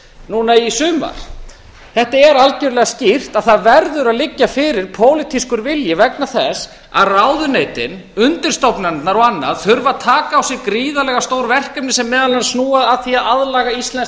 núna í sumar þetta er algerlega skýrt að það verður að liggja fyrir pólitískur vilji vegna þess að ráðuneytin undirstofnanirnar og annað þurfa að taka á sig gríðarlega stór verkefni sem meðal annars snúa að því að aðlaga íslenskt